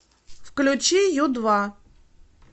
включи ю два